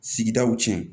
Sigidaw tiɲɛ